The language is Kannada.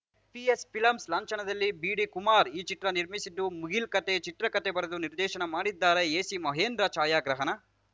ಪಿಎಸ್‌ಫಿಲಂಸ್‌ ಲಾಂಛನದಲ್ಲಿ ಬಿಡಿ ಕುಮಾರ್‌ ಈ ಚಿತ್ರವನ್ನು ನಿರ್ಮಿಸಿದ್ದು ಮುಗಿಲ್‌ ಕತೆ ಚಿತ್ರಕತೆ ಬರೆದು ನಿರ್ದೇಶನ ಮಾಡಿದ್ದಾರೆಎಸಿ ಮಹೇಂಧರ್‌ ಛಾಯಾಗ್ರಹಣ